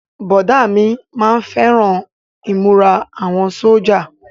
Bọ̀dá mi má ń fẹ́ràn ìmúra àwọn sójà